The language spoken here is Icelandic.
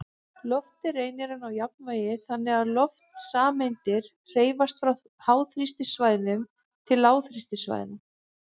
Loftið reynir að ná jafnvægi, þannig að loftsameindir hreyfast frá háþrýstisvæðum til lágþrýstisvæða.